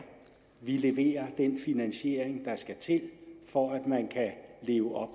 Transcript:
vi leverer den finansiering der skal til for at man kan leve op